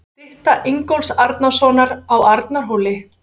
Stytta Ingólfs Arnarsonar á Arnarhóli.